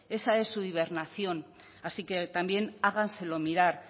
esa es su hibernación así que también háganselo mirar